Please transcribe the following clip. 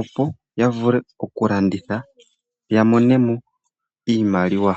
opo yavule okulanditha ya mone mo iimaliwa.